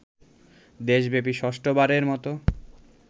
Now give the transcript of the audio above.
দেশব্যাপী ষষ্ঠ বারের মত